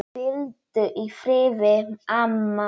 Hvíldu í friði, amma mín.